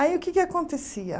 Aí, o que é que acontecia?